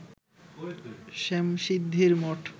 শ্যামশিদ্ধির মঠ